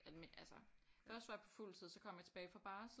Altså først var jeg på fuldtid så kom jeg tilbage fra barsel